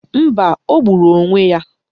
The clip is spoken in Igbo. Mba, o gburu onwe ya.